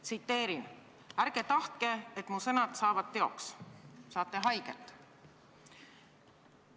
Tsiteerin: "Ärge tahtke, et mu sõnad saavad teoks, saate haiget.